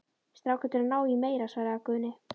Strákarnir eru að ná í meira, svaraði Gunni.